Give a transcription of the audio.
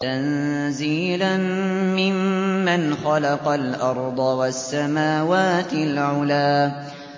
تَنزِيلًا مِّمَّنْ خَلَقَ الْأَرْضَ وَالسَّمَاوَاتِ الْعُلَى